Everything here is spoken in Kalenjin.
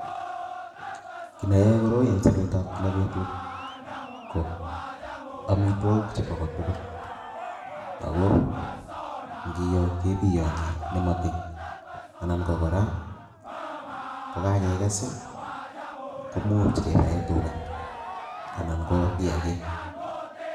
Kiiy ne yeyoe koroi eng sobetab kila betut ako amitwokik chebo kotugul ako ngiyoo kepiyoni nematiny anan ko kora, kokakekes komuch kepae tuga anan ko kiyakik.